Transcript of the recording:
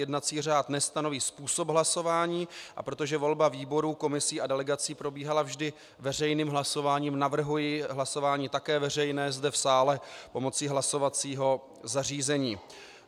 Jednací řád nestanoví způsob hlasování, a protože volba výborů, komisí a delegací probíhala vždy veřejným hlasováním, navrhuji hlasování také veřejné zde v sále pomocí hlasovacího zařízení.